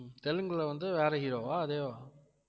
தெலுங்குல வந்து வேற hero வா? அதேவா